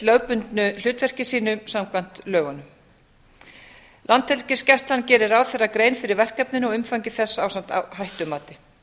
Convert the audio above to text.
lögbundnu hlutverki sínu samkvæmt lögunum landhelgisgæslan gerir grein fyrir verkefninu ásamt umfangi þess ásamt hættumati